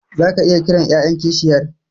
Zaka iya kiran yayan kishiyar